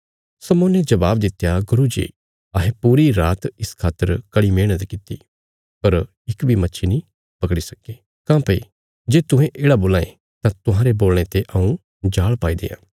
शमौने जबाब दित्या गुरू जी अहें पूरी रात इस खातर कड़ी मेहणत किति पर इक बी मच्छी नीं पकड़ी सक्के काँह्भई जे तुहें येढ़ा बोलां ये तां तुहांरे बोलणे ते हऊँ जाल़ पाई देआं